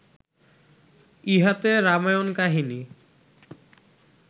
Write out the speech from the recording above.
ইহাতে রামায়ণ-কাহিনী